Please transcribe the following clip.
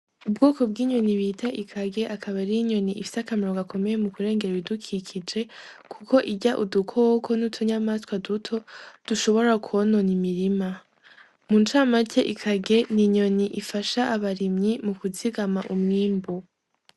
Ubwoko bw'inyoni bita ikage akabarira inyoni ifise akamaro gakomeye mu kurengera ibidukikije, kuko irya udukoko n'utunyamaswa duto dushobora kwonona imirima mu camate ikage ni inyoni ifasha abarimyi mu kuzigama umwimbu.